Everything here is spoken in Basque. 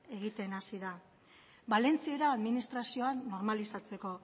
egiten hasi da valentziera administrazioak normalizatzeko